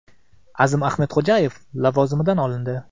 Azim Ahmedxo‘jayev lavozimdan olindi.